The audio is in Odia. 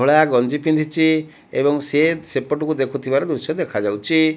ଧଳାଗଞ୍ଜି ପିନ୍ଧିଛି ଏବଂ ସିଏ ସେପଟକୁ ଦେଖୁଥିବାର ଦୃଶ୍ୟ ଦେଖାଯାଉଛି।